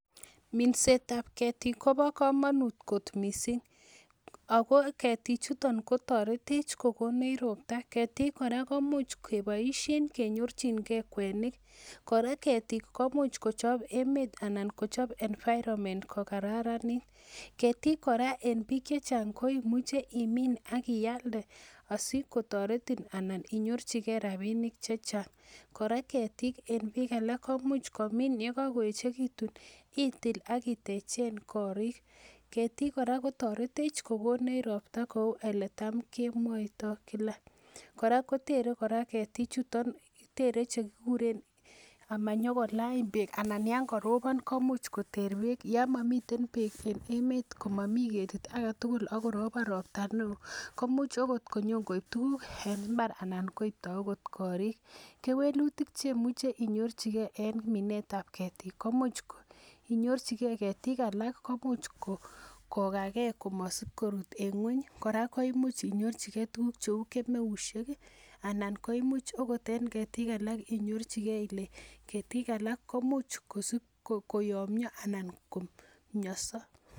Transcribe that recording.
Minsetab keetik kobo komonut kot missing, ako keetichuton Kotor etech kokonech ropta. Keetik kora komuch keboishien kebetyingei kwenik. Keetik komuch kochob emet anan kochob environment kokararanit. Keetik kora en biik chechang koimuche imin ialde asikotoretiin inyorchingei rabinik chechang. Kora en bik alak komuch komin yekakoyechekitun itil ak itechen gorik. Keetik kora kotoretech kokonech ropta en eletamkemwoito kila .kora ketik kotere kora komakila ngungunyek, komanyokola beek yon korobon komuch koter beek. yon korobon ropta newo komuch okot konyon koib tuguuk en imbaat, aanan koibto okot gorik. Kewelutik cheimuche inyoorchigei en minsetab keetik komuch inyorchigei ketik alal komuch kogagee komosob korut en ngwony. Kora koimuch inyorchigei tuguuk cheu kemeusiek anan koimuch okot en keetik alak inyorchigei, keetik alak komuch koyomyoo missing'.